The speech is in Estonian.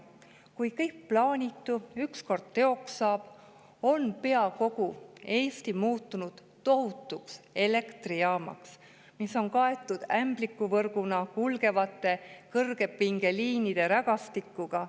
Kui kõik plaanitu ükskord teoks saab, on pea kogu Eesti muutunud tohutuks elektrijaamaks, mis on kaetud ämblikuvõrguna kulgevate kõrgepingeliinide rägastikuga.